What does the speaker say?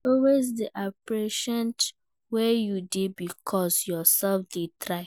Always de appreciate where you dey because you self de try